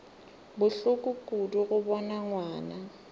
bohloko kudu go bona ngwana